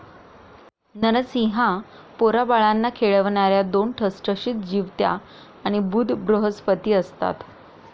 नरसिंहा पोराबाळांना खेळवणाऱ्या दोन ठसठसीत जिवत्याआणि बुध बृहस्पती असतात